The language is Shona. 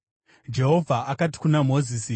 Jehovha akati kuna Mozisi,